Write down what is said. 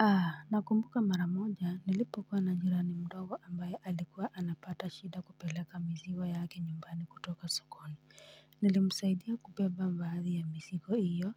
Aa nakumbuka mara moja nilipokuwa na jirani mdogo ambaye alikuwa anapata shida kupeleka maziwa yake nyumbani kutoka sokoni nilimsaidia kubeba baadhi ya mizigo hiyo